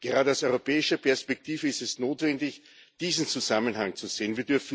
Gerade aus europäischer Perspektive ist es notwendig, diesen Zusammenhang zu sehen.